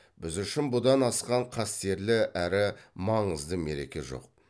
біз үшін бұдан асқан қастерлі әрі маңызды мереке жоқ